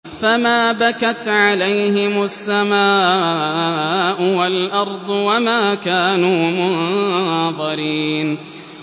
فَمَا بَكَتْ عَلَيْهِمُ السَّمَاءُ وَالْأَرْضُ وَمَا كَانُوا مُنظَرِينَ